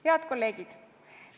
Head kolleegid!